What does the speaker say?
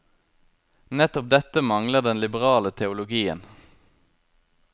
Nettopp dette mangler den liberale teologien.